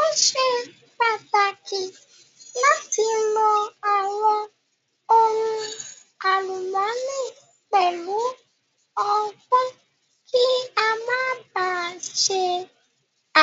Ó ṣe pàtàkì láti lo àwọn ohun àlùmọ́nì pẹ̀lú ọgbọ́n kí a Má ba à ṣe